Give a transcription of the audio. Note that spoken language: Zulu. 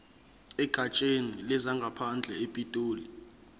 egatsheni lezangaphandle epitoli